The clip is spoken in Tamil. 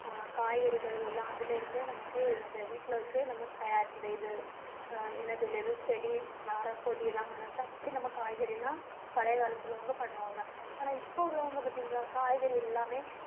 காய்கறிகள் எல்லாம் அதில இருந்தே நமக்கு இந்த வீட்டில வச்சே நம்ம தயார் இந்த இது என்ன சொல்றது? செடி மரம் கொடி எல்லாம் வளர்த்து அப்படி நம்ம காய்கறி எல்லாம் பழைய காலத்துல அவங்க பண்ணுவாங்க. ஆனா இப்ப உள்ளவங்க பார்த்தீங்களா? காய்கறி எல்லாமே அஹ்